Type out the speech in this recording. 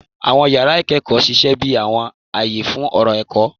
Àwọn yàrá ìkẹ́kọ̀ọ́ ṣiṣẹ́ bí àwọn àyè fún ọ̀rọ̀ ẹ̀kọ́.